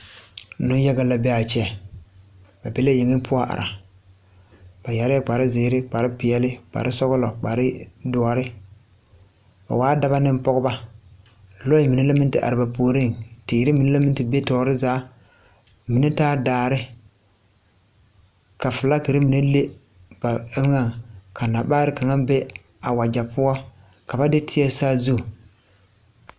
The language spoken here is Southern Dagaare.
Niŋyaga la be a kyɛ ba be la yaŋe poɔ are ba yɛrɛɛ kpare zēēre, kpare peɛli, kpare sɔglɔ, kpare dɔre ba waa dɔba ne pɔgeba lɔɛ mine la meŋ te are ba puoriŋ teere mine la meŋ te be tɔɔre zaa mine taa daare ka filagri mine leg ba eŋa nabaare kaŋa be a wagyɛ poɔ ka ba de teɛ saazu.